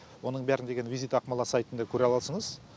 оның бәрін деген визит ақмола сайтында көре аласыңыз